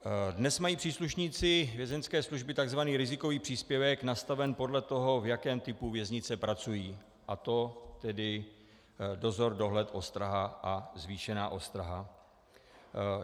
Dnes mají příslušníci Vězeňské služby tzv. rizikový příspěvek nastaven podle toho, v jakém typu věznice pracují, a to tedy dozor, dohled, ostraha a zvýšená ostraha.